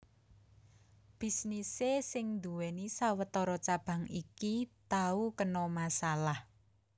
Bisnisé sing nduwèni sawetara cabang iki tau kena masalah